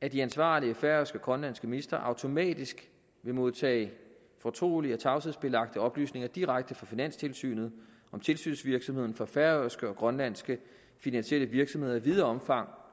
at de ansvarlige færøske og grønlandske ministre automatisk vil modtage fortrolige og tavshedsbelagte oplysninger direkte fra finanstilsynet om tilsynsvirksomheden for færøske og grønlandske finansielle virksomheder i videre omfang